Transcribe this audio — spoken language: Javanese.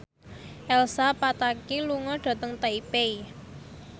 Elsa Pataky lunga dhateng Taipei